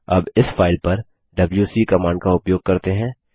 अब इस फाइल पर डबल्यूसी कमांड का उपयोग करते हैं